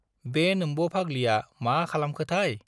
बे नोम्ब' फाग्लिया मा खालामखोथाय?